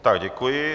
Tak, děkuji.